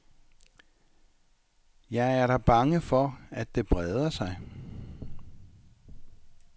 Jeg er da bange for, at det breder sig.